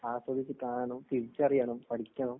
ആസ്വദിച്ച് കാണണം, തിരിച്ചറിയണം, പഠിക്കണം.